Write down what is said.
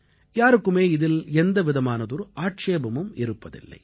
யாருக்கும் இதிலே எந்தவிதமானதொரு ஆட்சேபமும் இருப்பதில்லை